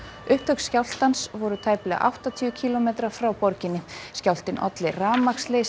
upptök skjálftans voru tæplega áttatíu kílómetra frá borginni skjálftinn olli rafmagnsleysi